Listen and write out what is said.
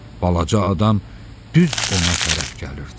Balaca adam düz ona tərəf gəlirdi.